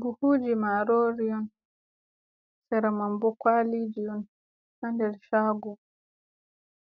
Buhuji marori on sera mambo kwalii on, hander chago